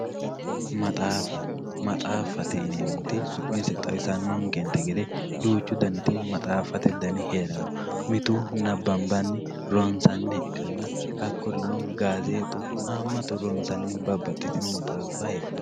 maxaaffa maxaaffate yinanniti su'mise xawisanonte gede duuchu daniti maxaaffate dani heeranno mitu nabbanbanni ronsanniha ikkanna hakkurino gaazeexu haammaturi babbaxitino maxaaffa heedhanno.